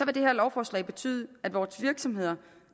det her lovforslag betyde at vores virksomheder